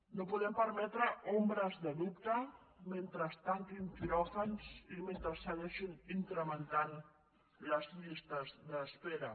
no podem permetre ombres de dubte mentre es tanquin quiròfans i metre segueixin incrementant les llistes d’espera